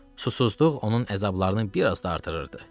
Susuzluq onun əzablarını biraz da artırırdı.